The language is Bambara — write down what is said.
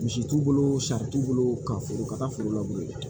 Misi t'u bolo sari t'u bolo ka foro ka taa foro labure